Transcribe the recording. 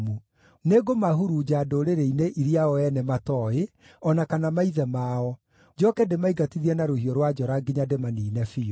Nĩngũmahurunja ndũrĩrĩ-inĩ iria o ene matooĩ, o na kana maithe mao, njooke ndĩmaingatithie na rũhiũ rwa njora nginya ndĩmaniine biũ.”